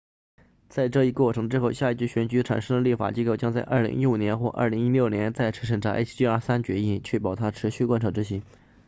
在这一过程之后下一届选举产生的立法机构将在2015年或2016年再次审查 hjr-3 决议确保它持续贯彻执行